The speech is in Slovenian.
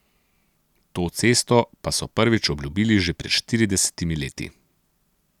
To cesto pa so prvič obljubili že pred štiridesetimi leti.